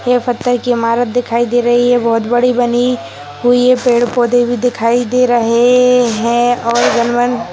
ये पत्थर की इमारत दिखाई दे रही है बोहोत बड़ी बनी हुई है। पेड़-पौधे भी दिखाई दे रहे हैं और --